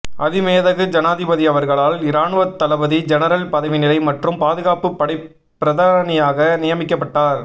அதிமேதகு ஜனாதிபதியவர்களால் இராணுவத் தளபதி ஜெனரல் பதவிநிலை மற்றும் பாதுகாப்பு படைப் பிரதானியாக நியமிக்கப்பட்டார்